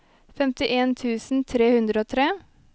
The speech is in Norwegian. femtien tusen tre hundre og tre